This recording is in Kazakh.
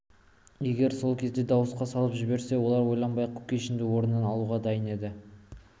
егер сол кезде дауысқа салып жіберсе олар ойланбай-ақ кушекинді орнынан алуға дайын еді